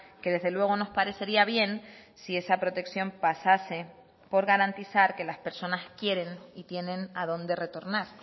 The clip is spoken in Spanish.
que desde luego nos parecería bien si esa protección pasase por garantizar que las personas quieren y tienen a dónde retornar